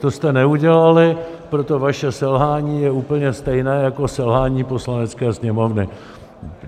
To jste neudělali, proto vaše selhání je úplně stejné jako selhání Poslanecké sněmovny.